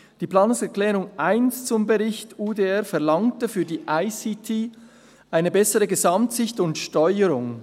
Die Planungserklärung 1 zum Bericht UDR verlangte für die ICT eine bessere Gesamtsicht und Steuerung.